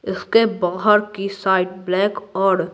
इसके बाहर की साइड ब्लैक और--